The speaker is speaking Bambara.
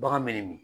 Bagan me nin min